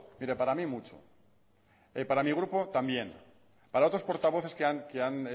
pero para mí mucho y para mi grupo también para otros portavoces que han